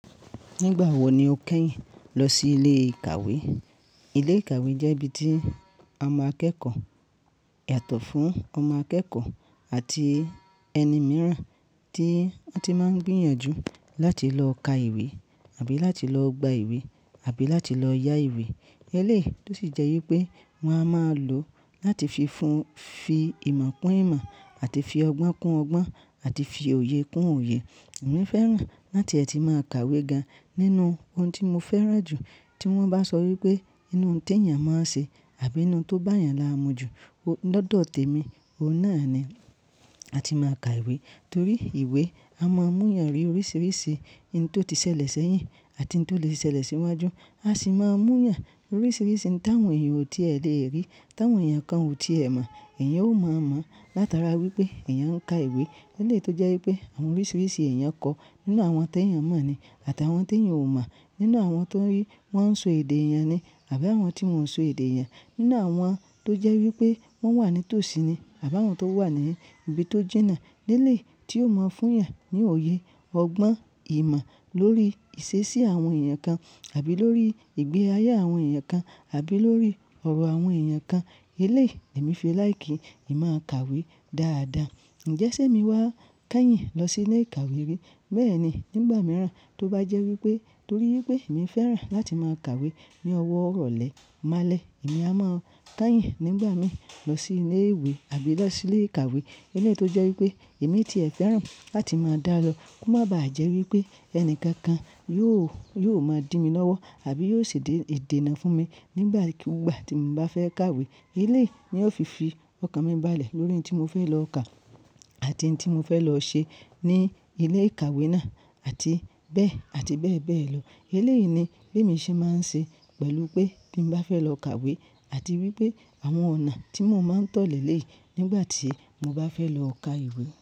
Nígbà wo ni o kenyìn lọ sí ilé ìkàwé? Ilé ìkàwé jẹ́ ibi tí ọmọ akẹ́kọ̀ọ́, ìyàtọ̀ fún ọmọ akẹ́kọ̀ọ́ àti ẹni mìíràn tí wọ́n ti máa ń gbìyànjú láti lọ ka ìwé àbí láti lọ gba ìwé àbí láti lọ ya ìwé. Eléyìí tó sì jẹ́ wípé wọn a máa lò láti fi fún, fi ìmọ̀ kún ìmọ̀ àti fi ọgbọ́n kún ọgbọ́n àti fi òye kún òye. Èmi fẹ́ràn láti ẹ̀ ti máa kàwé ga nínú ohun tí mo fẹ́ràn jù. Tí wọ́n bá sọ wípé inú nté èèyàn máa ń ṣe àbí inú tó bá èèyàn lámu jù, lọ́dọ̀ tèmi, òun náà ni a ti máa ka ìwé. Torí ìwé, a máa ń mú yàn rí oríṣiríṣi ohun tó ti ṣẹlẹ̀ sẹ́yìn àti ohun tó lè ṣẹlẹ̀ síwájú. A sì máa ń mú yàn oríṣiríṣi ntàn èèyàn ọ̀ ti è lè rí, ntàn èèyàn kan ò ti è mọ̀. Ẹ̀yàn ó máa mọ̀ látara wípé èèyàn ń ka ìwé. Eléyìí tó jẹ́ wípé àwọn oríṣiríṣi èèyàn kọ́ nínú àwọn tó èèyàn mọ̀ ni àti àwọn tó èèyàn ò mọ̀, nínú àwọn tó rí wọ́n so èdè èèyàn ni àbí àwọn tí wọn ò so èdè èèyàn, nínú àwọn tó jẹ́ wípé wọ́n wà ní tòsí ni àbí àwọn tó wà ní ibi tó jìnà. Eléyìí tí yóò máa ń fún yàn ní òye, ọgbọ́n, ìmọ̀ lórí ìṣesí àwọn èèyàn kan àbí lórí ìgbé ayé àwọn èèyàn kan àbí lórí ọ̀rọ̀ àwọn èèyàn kan. Eléyìí èmi fi láìkíì, èmi máa kàwé dáadáa. Ǹjẹ́ ṣé mi wá kenyìn lọ sí ilé ìkàwé rí? Bẹ́ẹ̀ni, nígbà mìíràn tó bá jẹ́ wípé torí wípé èmi fẹ́ràn láti máa kàwé ní ọwọ́ iròọ́lẹ̀ máa lẹ̀, èmi a máa kenyìn nígbà mìíràn lọ sí ilé ìwé àbí lọ sí ilé ìkàwé. Eléyìí tó jẹ́ wípé èmi ti è fẹ́ràn láti máa dá lo kó má bá à jẹ́ wípé ẹni kankan yóò, yóò máa dí mi lọ́wọ́ àbí yóò ṣe dé, dé ìdènà fún mi nígbà kí, gbà tí mo bá fẹ́ kàwé. Eléyìí ni ó fi fi ọkàn mi balẹ̀ lórí ohun tí mo fẹ́ lọ kà àti ohun tí mo fẹ́ lọ ṣe ní ilé ìkàwé náà àti bẹ́ẹ̀ àti bẹ́ẹ̀ bẹ́ẹ̀ lọ. Eléyìí ni bí èmi ṣe máa ń ṣe pẹ̀lú pé bí mo bá fẹ́ lọ kàwé àti wípé àwọn ọ̀nà tí mò ń máa ń tọ̀lẹ̀ lé nígbà tí mo bá fẹ́ lọ ka ìwé.